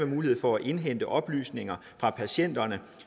mulighed for at indhente oplysninger fra patienterne